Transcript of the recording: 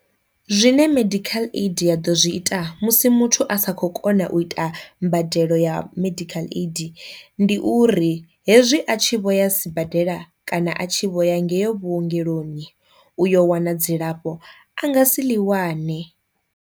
Zwine medical aid ya ḓo zwi ita musi muthu a sa kho kona u ita mbadelo ya medical aid, ndi uri hezwi a tshi vho ya sibadela kana a tshi vho ya ngeyo vhuongeloni u yo wana dzilafho a nga si ḽi wane.